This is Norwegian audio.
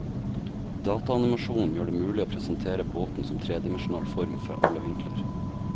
Dataanimasjonen gjør det mulig å presentere båten som tredimensjonal form, fra alle vinkler.